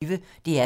DR P1